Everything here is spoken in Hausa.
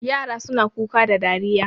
Yara suna Kuka da dariya